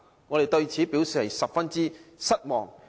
我們對此表示十分失望。